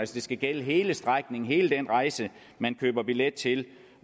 skal gælde hele strækningen hele den rejse man køber billet til